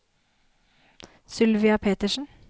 Sylvia Petersen